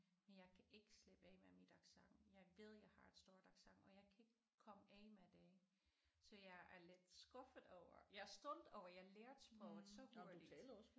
Men jeg kan ikke slippe af med mit accent jeg ved jeg har et stort accent og jeg kan ikke komme af med det så jeg er lidt skuffet over jeg er stolt over jeg lærte sproget så hurtigt